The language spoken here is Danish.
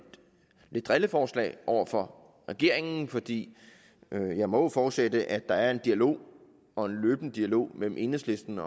drilleforslag over for regeringen fordi jeg jo må forudsætte at der er en dialog og en løbende dialog mellem enhedslisten